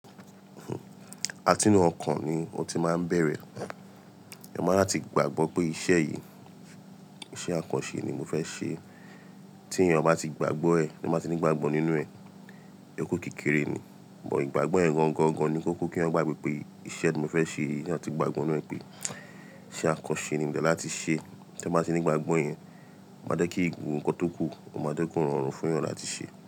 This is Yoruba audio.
Àtínú ọkàn mi ni mo ti máa ń bẹ̀rẹ̀. Ẹ máa láti gbàgbọ́ pé iṣẹ́ yìí, iṣẹ́ àkànṣe ni mo fẹ́ ṣe. Tí èèyàn bá ti gbàgbọ́ ẹ, tí o bá ti ní ìgbàgbọ́ nínú ẹ, ìyókù kékeré ni, bọ̀ ìgbàgbọ́ yẹn gangan ni kó kó kí èèyàn gbàgbọ́ pé iṣẹ́ tí mo fẹ́ ṣe yìí tí èèyàn ti gbàgbọ́ nínú ẹ pé iṣẹ́ àkànṣe ni mo dẹ̀ ni láti ṣe. Tí èèyàn bá ti ní ìgbàgbọ́ yẹn, o máa jẹ́ kí gbogbo nǹkan tó kù, o máa ko rọrùn fún èèyàn láti ṣe.